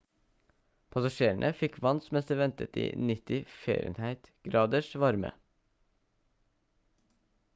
passasjerene fikk vann mens de ventet i 90f-graders varme